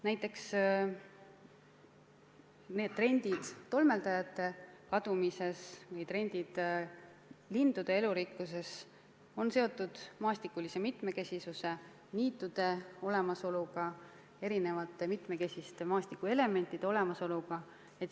Näiteks tolmeldajate kadumises ja lindude elurikkuses ilmnevad trendid on seotud maastikulise mitmekesisuse ja niitude olemasoluga, erinevate mitmekesiste maastikuelementide olemasoluga.